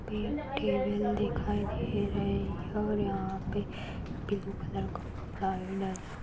पे टेबल दिखाई दे रहें हैं और यहाँ पे ब्लू कलर का कपड़ा भी डला--